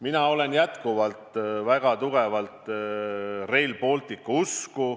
Mina olen jätkuvalt väga tugevalt Rail Balticu usku.